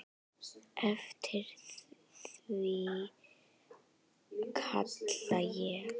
Eftir því kalla ég.